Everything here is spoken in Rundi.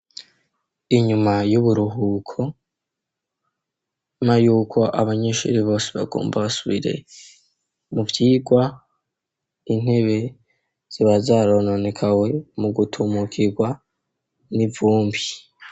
Inyuma y'uburuhuko na yuko abanyishuri bose bagomba basubire mu byigwa intebe ziba zarononekaye mu gutumukirwa n'ivumbi.